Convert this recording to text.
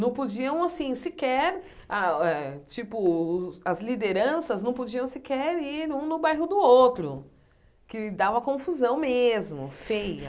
Não podiam, assim, sequer ah eh... Tipo, as lideranças não podiam sequer ir um no bairro do outro, que dava confusão mesmo, feia.